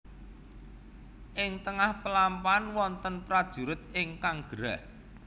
Ing tengah pelampahan wonten prajurit ingkang gerah